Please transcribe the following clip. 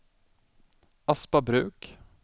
Aspabruk